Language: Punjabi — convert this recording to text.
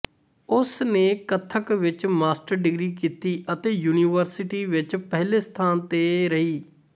ਉਸਨੇ ਕਥਕ ਵਿੱਚ ਮਾਸਟਰ ਡਿਗਰੀ ਕੀਤੀ ਅਤੇ ਯੂਨੀਵਰਸਿਟੀ ਵਿੱਚ ਪਹਿਲੇ ਸਥਾਨ ਤੇ ਰਹੀ